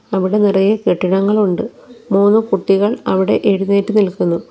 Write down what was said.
അവിടെ നിറയെ കെട്ടിടങ്ങൾ ഉണ്ട് മൂന്ന് കുട്ടികൾ അവിടെ എഴുന്നേറ്റ് നിൽക്കുന്നു.